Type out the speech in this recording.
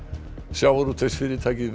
sjávarútvegsfyrirtækið